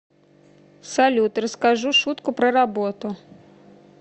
салют расскажу шутку про работу